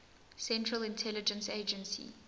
central intelligence agency